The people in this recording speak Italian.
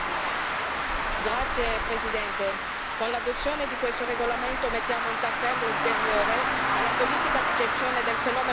Grazie Presidente, con l'adozione di questo regolamento mettiamo un tassello ulteriore alla politica di gestione del fenomeno migratorio.